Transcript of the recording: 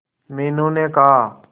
मीनू ने कहा